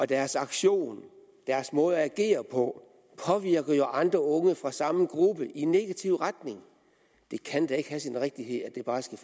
deres aktion deres måde at agere på påvirker jo andre unge fra samme gruppe i negativ retning det kan da ikke have sin rigtighed at det bare skal